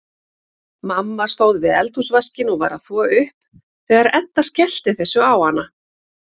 Mamma stóð við eldhúsvaskinn og var að þvo upp þegar Edda skellti þessu á hana.